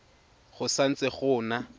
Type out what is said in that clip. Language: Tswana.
go sa ntse go na